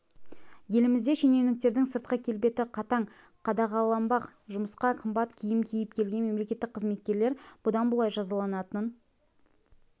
елімізде шенеуніктердің сыртқы келбеті қатаң қадағаланбақ жұмысқа қымбат киім киіп келген мемлекеттік қызметкерлер бұдан бұлай жазаланатын